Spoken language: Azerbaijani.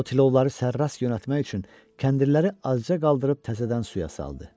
O, tilovları sərrast yönəltmək üçün kəndirləri azca qaldırıb təzədən suya saldı.